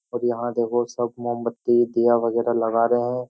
और यहाँ देखो सब मोमबत्ती दिया वगेरा लगा रहे हैं।